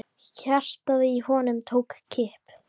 Hjartað í honum tók kipp.